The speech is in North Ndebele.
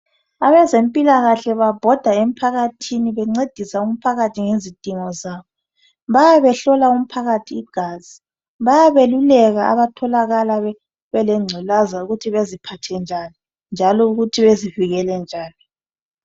Abezempilakahle babhoda emphakathini bencedisa umphakathi ngezidingo zabo. Bayabebehlola umphakathi igazi, bayabeluleka abathola belengculaza ukuthi baziphathe njani njalo ukuthi bazivikelile njani.